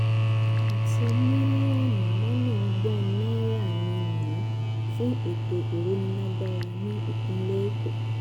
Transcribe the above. àti mílíọ̀nù lọ́nà ọgbọ́n náírà mí-ín fún ètò ìrónílágbára nípínlẹ̀ èkó